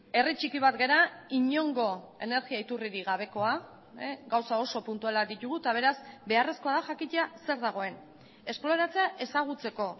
herri txiki bat gara inongo energia iturririk gabekoa gauza oso puntualak ditugu eta beraz beharrezkoa da jakitea zer dagoen esploratzea ezagutzeko